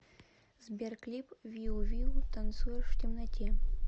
сбер клип виу виу танцуешь в темноте